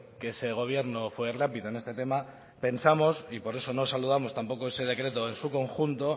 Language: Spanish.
que ese gobierno fue rápido en este tema pensamos y por eso no saludamos tampoco ese decreto en su conjunto